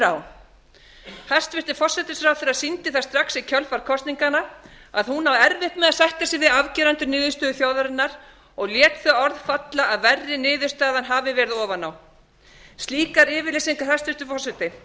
á hæstvirtan forsætisráðherra sýndi það strax í kjölfar kosninganna að hún á erfitt með að sætta sig við afgerandi niðurstöðu þjóðarinnar og lét þau orð falla að verri niðurstaðan hafi verið ofan á slíkar yfirlýsingar hæstvirtur forseti